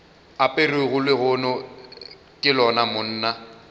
aperego lehono ke lona monna